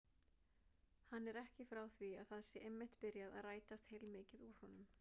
Hann er ekki frá því að það sé einmitt byrjað að rætast heilmikið úr honum.